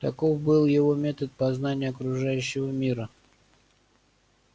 таков был его метод познания окружающего мира